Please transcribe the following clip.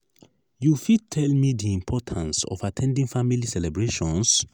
you fit tell me di importance of at ten ding family celebrations?